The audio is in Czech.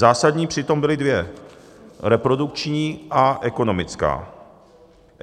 Zásadní přitom byly dvě: reprodukční a ekonomická.